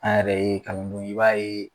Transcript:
An yɛrɛ ye kalandenw ye i b'a ye.